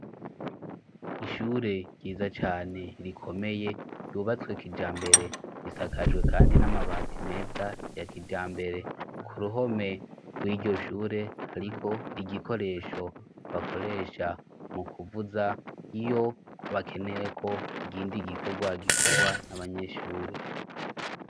Ishure ryiza cane rikomeye, ryubatswe kijambere. Risakajwe kandi n'amabati meza ya kijambere. Ku ruhome rw'iryo shure hariko igikoresho bakoresha mu kuvuza iyo bakeyeko ikindi gikórwa gikorwá n'abanyeshure.